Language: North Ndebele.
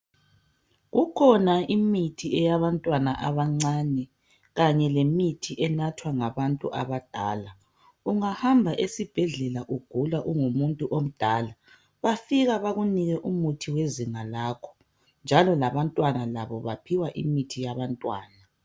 Kukhona imithi eyabantwana abancane kanye lemithi enathwa ngabantu abadala ungahamba esibhedlela ugula ungumuntu omdala bafika bakunike umuthi wezinga lakho njalo labantwana labo baphiwa imithi yabantwana